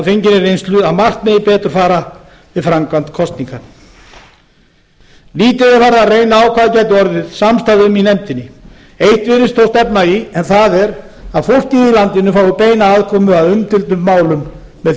af fenginni reynslu að margt megi betur fara við framkvæmd kosninga lítið er farið að reyna á hvað gæti orðið samstaða um í nefndinni eitt virðist þó stefna í en það er að fólkið í landinu fái beina aðkomu að umdeildum málum með